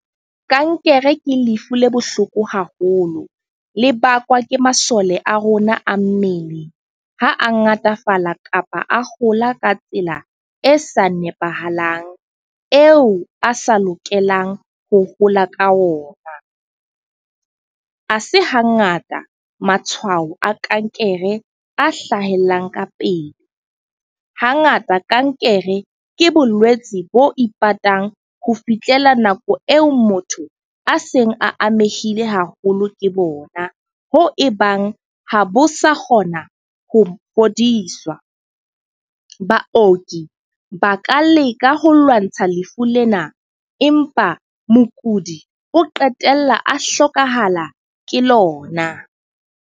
Kankere ke lefu le bohloko haholo. Le bakwa ke masole a rona a mmele ha a ngatafala kapa a hola ka tsela e sa nepahalang, eo a sa lokelang ho hola ka ona. Ha se hangata matshwao a kankere a hlahellang ka pele. Hangata kankere ke bolwetsi bo ipatang ho fihlela nako eo motho a seng a amehile haholo ke bona. Hoo ebang ha bo sa kgona ho fodiswa. Baoki ba ka leka ho lwantsha lefu lena empa mokudi o qetella a hlokahala ke lona.